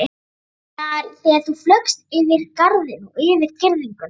Þú meinar þegar þú flaugst yfir garðinn og yfir girðinguna.